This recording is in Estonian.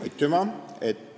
Aitüma!